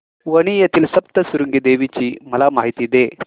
वणी येथील सप्तशृंगी देवी ची मला माहिती दे